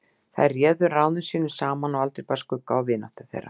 Þær réðu ráðum sínum saman og aldrei bar skugga á vináttu þeirra.